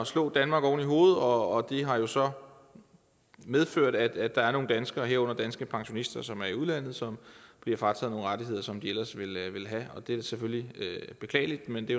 slå danmark oven i hovedet og det har jo så medført at der er nogle danskere herunder danske pensionister som er i udlandet som bliver frataget nogle rettigheder som de ellers ville have og det er selvfølgelig beklageligt men det